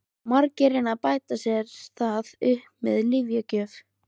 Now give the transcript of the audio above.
Margir reyna að bæta sér það upp með lyfjagjöf.